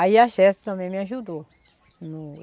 Aí a também me ajudou, no